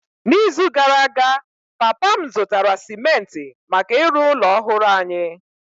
N’izu gara aga, papa m zụtara simenti maka ịrụ ụlọ ọhụrụ anyị.